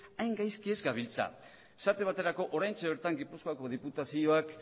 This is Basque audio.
hain gaizki ez gabiltza esate baterako oraintxe bertan gipuzkoako diputazioak